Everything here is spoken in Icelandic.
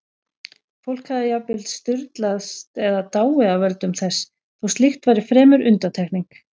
Fólk hafði jafnvel sturlast eða dáið af völdum þess, þó slíkt væri fremur undantekning.